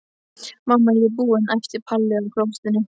Mamma, ég er búin! æpti Palla á klósettinu.